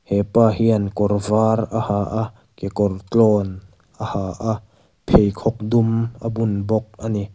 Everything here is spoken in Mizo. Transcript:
hepa hian kawr var a har a kekawr tlawn a ha a pheikhawk dum a bun bawk a ni.